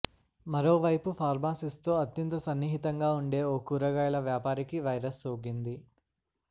మరో వైపు ఫార్మాసిస్ట్తో అత్యంత సన్నిహితంగా ఉండే ఓ కురగాయల వ్యాపారికీ వైరస్ సోకింది